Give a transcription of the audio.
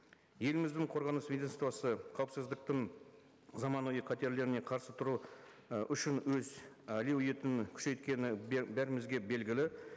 еліміздің қорғаныс ведомствосы қауіпсіздіктің заманауи қатерлеріне қарсы тұру і үшін өз әлеуетін күшейткені бәрімізге белгілі